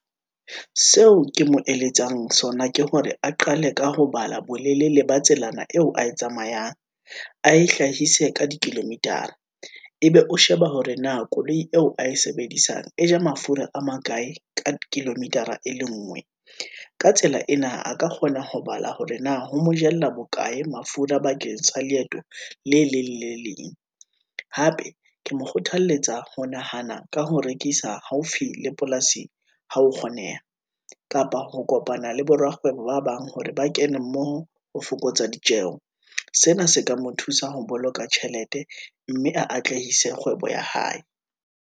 Seo ke mo eletsang sona ke hore a qale ka ho bala, bolelele ba tselaena eo a e tsamayang, a e hlahise ka dikilometer, ebe o sheba hore na koloi eo a e sebedisang e ja mafura a makae ka kilometer-a e le ngwe. Ka tsela ena a ka kgona ho bala hore na ho mo jella bokae mafura, bakeng sa leeto le leng le leng. Hape ke mo kgothaletsa ho nahana ka ho rekisa haufi le polasi ha ho kgoneha, kapa ho kopana le borakgwebo ba bang, hore ba kene mmoho ho fokotsa ditjeho. Sena se ka mo thusa ho boloka tjhelete, mme a atlehise kgwebo ya hae.